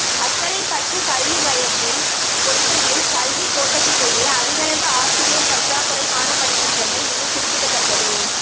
அக்கரைப்பற்று கல்வி வயத்தில் பொத்துவில் கல்விக் கோட்டத்திலேயே அதிகளவு ஆசிரியர் பற்றாக்குறை காணப்படுகின்றமை இங்கு குறிப்பிடத்தக்கது